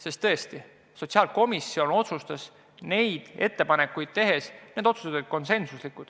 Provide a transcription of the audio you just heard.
Sest tõesti, sotsiaalkomisjon otsustas need ettepanekud konsensusega.